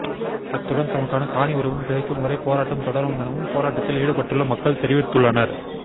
அத்துடன் தமக்கான காணி உரிமம் கிடைக்கும் வரை போராட்டம் தொடரம் எனவும் போராட்டத்தில் ஈடுபட்டுள்ள மக்கள் தெரிவித்துள்ளனர்